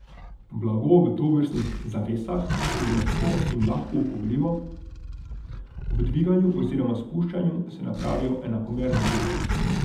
Blago v tovrstnih zavesah je mehko in lahko upogljivo, ob dviganju oziroma spuščanju se napravijo enakomerne gube.